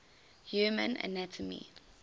human anatomy